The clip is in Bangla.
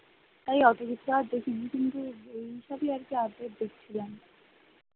তাই এত কিছু আর দেখিনি কিন্তু এইসবই আর কি update দেখছিলাম ।